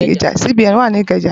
CBN wa ni Ikeja